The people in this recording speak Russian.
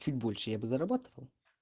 чуть больше я бы зарабатывал